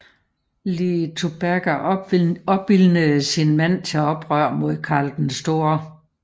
Liutperga opildnede sin mand til oprør mod Karl den Store